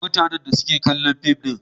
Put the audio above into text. Mutanen da suke kallon fim din.